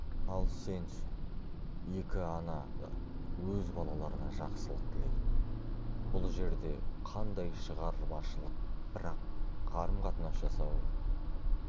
ал сенші екі ана да өз балаларына жақсылық тілейді бұл жерде қандай шығармашылық бірақ қарым-қатынас жасау